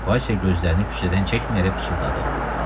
Vaysya gözlərini küçədən çəkməyərək pıçıldadı.